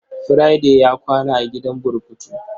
Friday ya kwana a gidan burkutu.